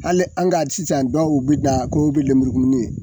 Hali an ka d sisan dɔw be na ko u be lemurukumuni ye